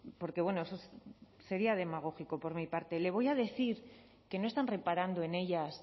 porque eso sería demagógico por mi parte le voy a decir que no están reparando en ellas